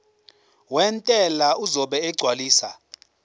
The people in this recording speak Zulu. wentela uzobe esegcwalisa